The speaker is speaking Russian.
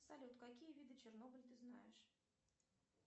салют какие виды чернобыля ты знаешь